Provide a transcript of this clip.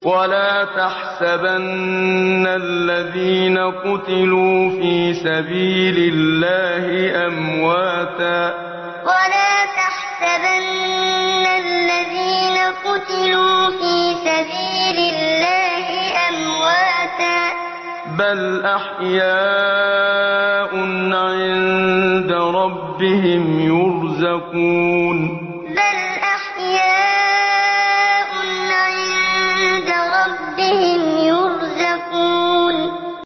وَلَا تَحْسَبَنَّ الَّذِينَ قُتِلُوا فِي سَبِيلِ اللَّهِ أَمْوَاتًا ۚ بَلْ أَحْيَاءٌ عِندَ رَبِّهِمْ يُرْزَقُونَ وَلَا تَحْسَبَنَّ الَّذِينَ قُتِلُوا فِي سَبِيلِ اللَّهِ أَمْوَاتًا ۚ بَلْ أَحْيَاءٌ عِندَ رَبِّهِمْ يُرْزَقُونَ